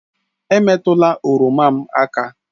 Emetụla oroma m aka!